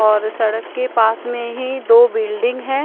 और सड़क के पास मे ही दो बिल्डिंग हैं।